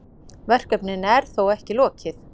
Verkinu er þó ekki lokið.